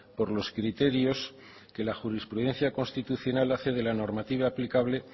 por los criterios que la jurisprudencia constitucional hace de la normativa aplicable